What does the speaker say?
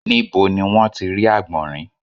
Níbo ni wọ́n ti rí àgbọ̀nrín?